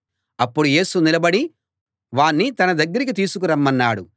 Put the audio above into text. అప్పుడు యేసు నిలబడి వాణ్ణి తన దగ్గరికి తీసుకురమ్మన్నాడు